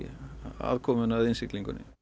aðkomuna að innsiglingunni